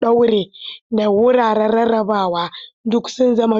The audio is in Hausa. ɗaure, da wuraren rarraba duk sun zama dole.